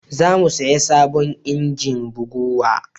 zamu saya sabon injin bugawa